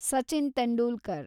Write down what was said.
Sachin Tendulkar